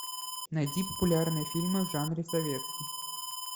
найди популярные фильмы в жанре советский